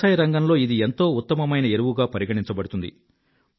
వ్యవసాయ రంగంలో ఇది ఎంతో ఉత్తమమైన ఎరువుగా పరిగణించబడుతుంది